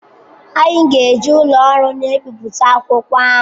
Anyị ga-eji ụlọ ọrụ na-ebipụta akwụkwọ ahụ.